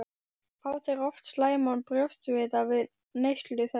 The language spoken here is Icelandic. Fá þeir oft slæman brjóstsviða við neyslu þess.